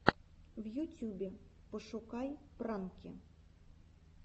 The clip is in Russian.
в ютюбе пошукай пранки